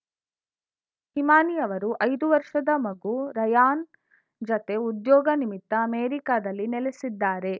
ಹಿಮಾನಿ ಅವರು ಐದು ವರ್ಷದ ಮಗು ರಯಾನ್‌ ಜತೆ ಉದ್ಯೋಗ ನಿಮಿತ್ತ ಅಮೆರಿಕದಲ್ಲಿ ನೆಲೆಸಿದ್ದಾರೆ